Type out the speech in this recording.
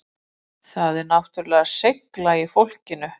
Það er náttúrulega seigla í fólkinu